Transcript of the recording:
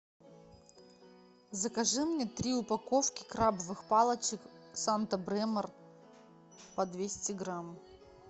закажи мне три упаковки крабовых палочек санта бремор по двести грамм